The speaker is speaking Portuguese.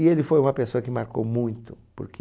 E ele foi uma pessoa que marcou muito, porque...